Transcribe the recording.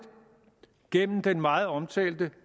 gennem den meget omtalte